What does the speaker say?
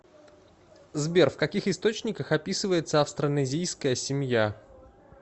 сбер в каких источниках описывается австронезийская семья